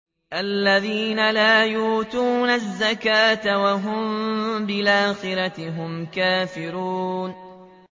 الَّذِينَ لَا يُؤْتُونَ الزَّكَاةَ وَهُم بِالْآخِرَةِ هُمْ كَافِرُونَ